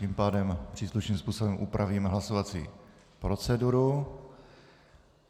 Tím pádem příslušným způsobem upravíme hlasovací proceduru.